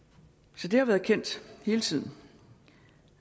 så det har været kendt hele tiden